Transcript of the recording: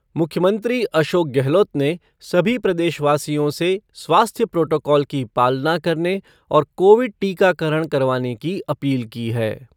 मुख्यमंत्री अशोक गहलोत ने सभी प्रदेशवासियों से स्वास्थ्य प्रोटोकॉल की पालना करने और कोविड टीकाकरण करवाने की अपील की है।